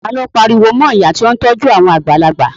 Ta ni ó pariwo mọ ìyá tí ó ń tọ́jú àwọn àgbàlagbà?